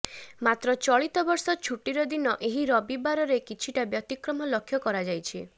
ମାତ୍ର ଚଳିତ ବର୍ଷ ଛୁଟିର ଦିନ ଏହି ରବିବାରରେ କିଛିଟା ବ୍ୟତିକ୍ରମ ଲକ୍ଷ୍ୟ କରାଯାଇଛି